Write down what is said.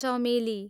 चमेली